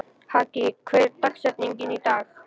Haki, hver er dagsetningin í dag?